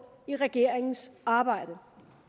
i regeringens arbejde